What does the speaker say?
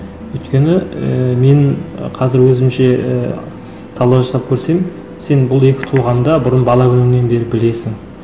өйткені ііі мен ы қазір өзімше і талдау жасап көрсем сен бұл екі тұлғаны да бұрын бала күніңнен бері білесің